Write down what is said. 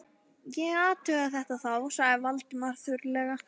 Ég athuga þetta þá- sagði Valdimar þurrlega.